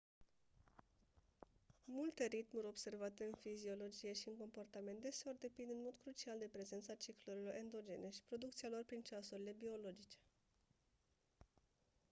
multe ritmuri observate în fiziologie și în comportament deseori depind în mod crucial de prezența ciclurilor endogene și producția lor prin ceasurile biologice